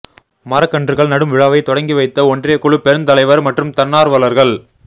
மரக்கன்றுகள் நடும் விழாவை தொடக்கி வைத்த ஒன்றியக்குழு பெருந்தலைவர் மற்றும் தன்னார்வலர்கள்